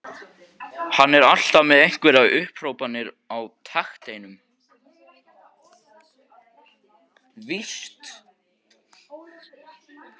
Hann er alltaf með einhverjar upphrópanir á takteinum.